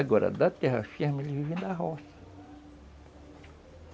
Agora, da terra firme, eles vivem da roça.